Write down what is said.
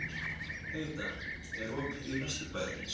Heida, er opið í Vesturbæjarís?